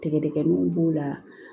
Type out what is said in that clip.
Tigɛdɛgɛw b'o la